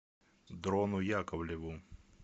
дрону яковлеву